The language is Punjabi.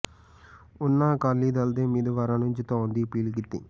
ਉਹਨਾਂ ਅਕਾਲੀ ਦਲ ਦੇ ਉਮੀਦਵਾਰਾਂ ਨੁੰ ਜਿਤਾਉਣ ਦੀ ਅਪੀਲ ਕੀਤੀ